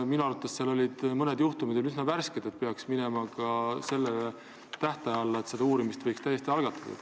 Minu arvates on mõned juhtumid veel üsna värsked ja peaksid minema ka selle tähtaja alla, et uurimist võiks täiesti algatada.